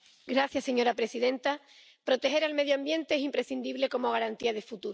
Señora presidenta, proteger el medio ambiente es imprescindible como garantía de futuro.